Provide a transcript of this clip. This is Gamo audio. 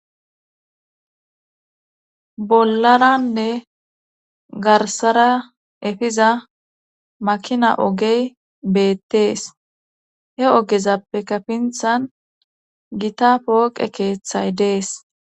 Bollaranne garsara efiza makina ogey beettees he ogezappe kapinthan gita pooqe keeththay dees.